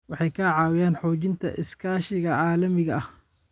Waxay ka caawiyaan xoojinta iskaashiga caalamiga ah.